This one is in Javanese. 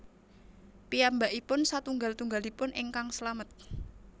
Piyambakipun satunggal tunggalipun ingkang slamet